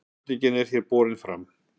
spurningin sem hér er borin fram